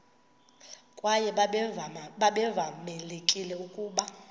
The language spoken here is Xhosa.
kwaye babevamelekile ukuba